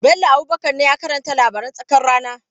Bello Abubakar ne ya karanta labaran tsakar rana.